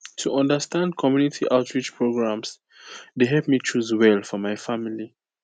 to understand community outreach programs dey help me choose well for my family